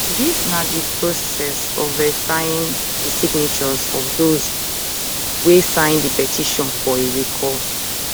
dis na di process of verifying di signatures of those wey sign di petition for a recall